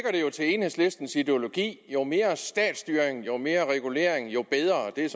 enhedslistens ideologi at jo mere statsstyring og jo mere regulering jo bedre det er